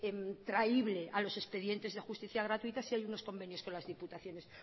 traible a los expedientes de justicia gratuita si hay unos convenios con las diputaciones